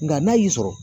Nka n'a y'i sɔrɔ